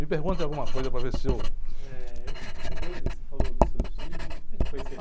Me pergunte alguma coisa para ver se eu...h, eu queria saber, você falou dos seus filhos, e como é que foi ser